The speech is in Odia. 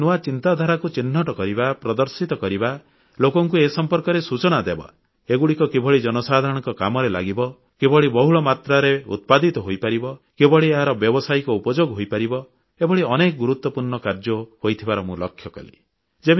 ଏଭଳି ନୂଆ ଚିନ୍ତାଧାରାକୁ ଚିହ୍ନଟ କରିବା ପ୍ରଦର୍ଶିତ କରିବା ଲୋକଙ୍କୁ ଏ ସମ୍ପର୍କରେ ସୂଚନା ଦେବା ଏଗୁଡ଼ିକ କିଭଳି ଜନସାଧାରଣଙ୍କ କାମରେ ଲାଗିବ କିଭଳି ବହୁଳ ମାତ୍ରାରେ ଉତ୍ପାଦିତ ହୋଇପାରିବ କିଭଳି ଏହାର ବ୍ୟବସାୟିକ ଉପଯୋଗ ହୋଇପାରିବ ଏଭଳି ଅନେକ ଗୁରୁତ୍ୱପୂର୍ଣ୍ଣ କାର୍ଯ୍ୟ ହୋଇଥିବାର ମୁଁ ଲକ୍ଷ୍ୟ କଲି